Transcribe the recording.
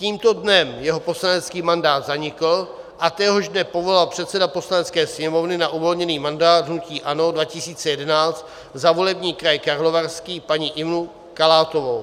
Tímto dnem jeho poslanecký mandát zanikl a téhož dne povolal předseda Poslanecké sněmovny na uvolněný mandát hnutí ANO 2011 za volební kraj Karlovarský paní Ivu Kalátovou.